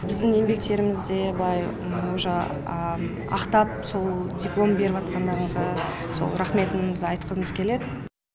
біздің еңбектерімізде былай ақтап сол диплом беріватқандарыңызға сол рақметімізді айтқымыз келеді